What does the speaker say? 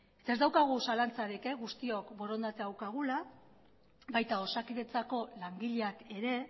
ez daukagu zalantzarik guztiok borondatea daukagula baita osakidetzako langileak ere